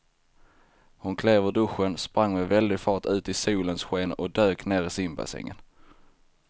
Hon klev ur duschen, sprang med väldig fart ut i solens sken och dök ner i simbassängen.